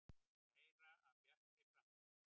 Meira af Bjartri framtíð.